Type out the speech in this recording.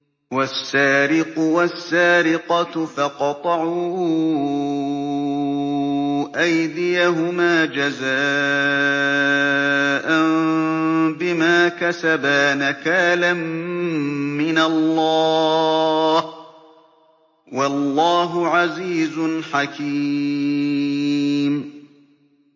وَالسَّارِقُ وَالسَّارِقَةُ فَاقْطَعُوا أَيْدِيَهُمَا جَزَاءً بِمَا كَسَبَا نَكَالًا مِّنَ اللَّهِ ۗ وَاللَّهُ عَزِيزٌ حَكِيمٌ